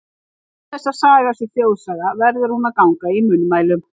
En til þess að saga sé þjóðsaga, verður hún að ganga í munnmælum.